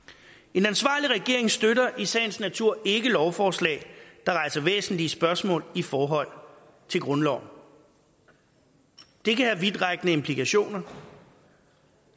en ansvarlig regering støtter i sagens natur ikke lovforslag der rejser væsentlige spørgsmål i forhold til grundloven det kan have vidtrækkende implikationer